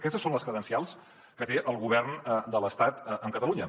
aquestes són les credencials que té el govern de l’estat amb catalunya